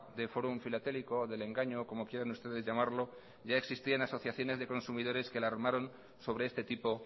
de fórum filatélico del engaño como quieran ustedes llamarlo ya existían asociaciones de consumidores que la armaron sobre este tipo